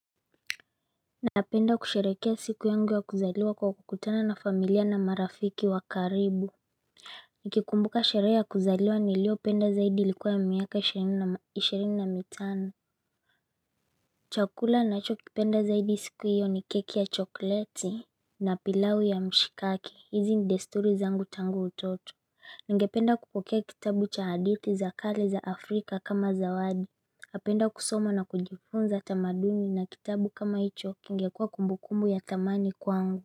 Napenda kusherekea siku yangu wa kuzailwa kwa kukutana na familia na marafiki wa karibu Nikikumbuka sherehe ya kuzaliwa nilio penda zaidi ilikuwa ya miaka ishirini na mitano Chakula ninacho kipenda zaidi siku hiyo ni keki ya chokoleti na pilau ya mshikaki hizi ni desturi zangu tangu utoto Ningependa kupokea kitabu cha hadithi za kale za afrika kama zawadi napenda kusoma na kujifunza tamaduni na kitabu kama hicho kingekuwa kumbukumbu ya thamani kwangu.